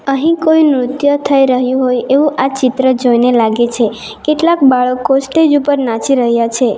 અહીં કોઈ નૃત્ય થઈ રહ્યું હોય એવું આ ચિત્ર જોઈને લાગે છે કેટલાક બાળકો સ્ટેજ ઉપર નાચી રહ્યા છે.